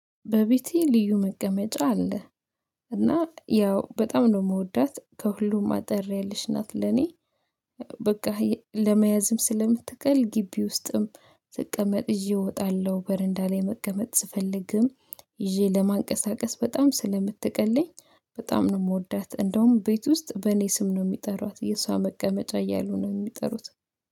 በቤቴ ልዩ መቀመጫ አለ እና ያው በጣም ነው የምወዳት ከሁሉም አጠር ያለች ናት ለኔ። በቃ ለመያዝም ስለምትቀል ግቢ ውስጥም ስቀመጥ ይዤ እወጣለሁ በረንዳ ላይ መቀመጥ ስፈልግም ይዤ ለማንቀሳቀስ በጣም ስለምትቀለኝ በጣም ነው የምወዳት። እንደውም ቤት ውስጥ በእኔ ስም ነው የሚጠሯት የእሷ መቀመጫ እያሉ ነው የሚጠሩት።